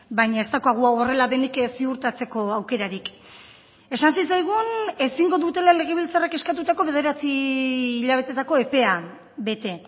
baina ez daukagu hau horrela denik ziurtatzeko aukerarik esan zitzaigun ezingo dutela legebiltzarrak eskatutako bederatzi hilabetetako epea bete